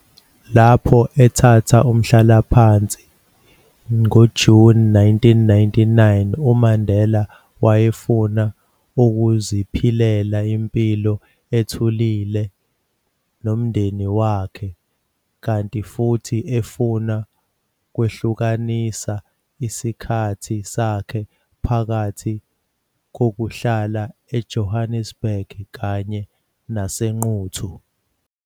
Lapho ethatha umhlalaphansi ngoJuni 1999, uMandela wayefuna ukuziphilela impilo ethulile nomndeni wakhe, kanti futhi efuna ukwehlukanisa isikhathi sakhe phakathi kokuhlala eJonnesburg kanye naseQunu.